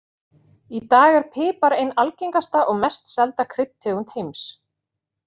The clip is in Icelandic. Í dag er pipar ein algengasta og mest selda kryddtegund heims.